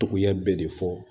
Togoya bɛɛ de fɔ